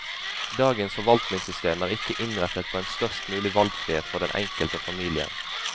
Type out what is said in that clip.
Dagens forvaltningssystem er ikke innrettet på en størst mulig valgfrihet for den enkelte og familien.